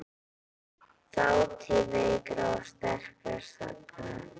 Þátíð veikra og sterkra sagna.